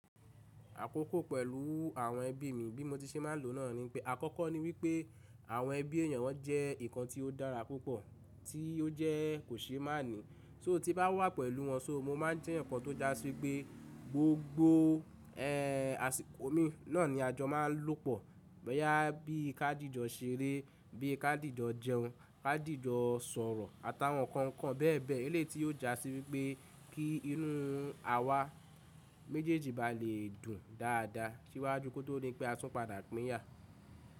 Àkókò pẹ̀lú àwọn ẹbí mi bí mo ti ṣe máa ń lòó náà ni pé àkọ́kọ́ ni wípé àwọn ẹbí èyàn wọn jẹ́ ǹkan tí ó dára púpọ̀ tí ó jẹ́ kò ṣe má ní. Só tí bá wà pẹ̀lú wọn so mo má ń jẹ́ ǹkan tó jásí pé gbogbo ẹ̀ àsìkò mi náà ni ajọ máa ń lòpọ̀. Bóyá bí i ká dìjọ ṣeré, bí i ká dìjọ jẹun, ká dìjọ sọ̀rọ̀ àtàwọn ǹkan ǹkan bẹ́ẹ̀ bẹ́ẹ̀. Ilé tí yóò jásí wípé kí inú àwa méjèèjì bá lè dùn dáadáa síwájú kó tó ní pé a tún padà pín yà.